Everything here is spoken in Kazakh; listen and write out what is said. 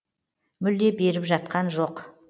мүлде беріп жатқан жоқ